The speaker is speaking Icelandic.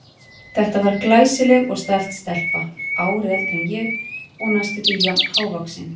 Þetta var glæsileg og stælt stelpa, ári eldri en ég og næstum því jafn hávaxin.